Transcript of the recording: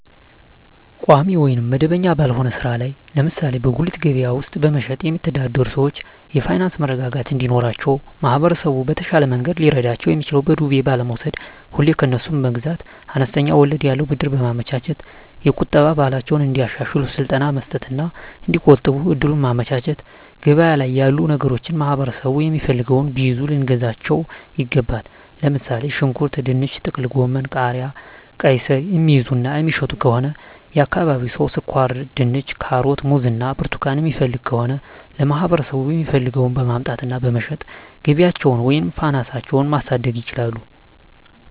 ቋሚ ወይም መደበኛ ባልሆነ ሥራ ላይ (ለምሳሌ በጉሊት ገበያ ውስጥ በመሸጥ)የሚተዳደሩ ሰዎች የፋይናንስ መረጋጋት እንዲኖራቸው ማህበረሰቡ በተሻለ መንገድ ሊረዳቸው የሚችለው በዱቤ ባለመውስድ፤ ሁሌ ከነሱ መግዛት፤ አነስተኛ ወለድ ያለው ብድር በማመቻቸት፤ የቁጠባ ባህላቸውን እንዲያሻሽሉ ስልጠና መስጠት እና እዲቆጥቡ እድሉን ማመቻቸት፤ ገበያ ላይ ያሉ ነገሮችን ማህበረሠቡ የሚፈልገውን ቢይዙ ልናግዛቸው ይገባል። ለምሣሌ፦ ሽንኩርት፤ ድንች፤ ጥቅልጎመን፤ ቃሪያ፤ ቃይስር፤ የሚይዙ እና የሚሸጡ ከሆነ የአካባቢው ሠው ስኳርድንች፤ ካሮት፤ ሙዝ እና ብርቱካን የሚፈልግ ከሆነ ለማህበረሰቡ የሚፈልገውን በማምጣት እና በመሸጥ ገቢያቸውን ወይም ፋናሳቸው ማሣደግ ይችላሉ።